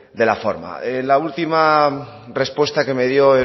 de la forma la última respuesta que me dio